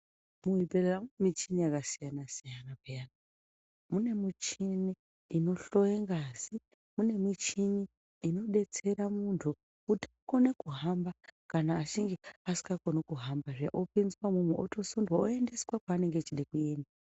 Muzvibhehlera mune muchini yakasiyana siyana, mune michini inohloya ngazi mune michini inodetsera muntu kuti akone kuhamba kana chinge asingakoni kuhamba zviya otopinzwa imwomwo otosindwa oendeswa kwaanenge achida kuenda.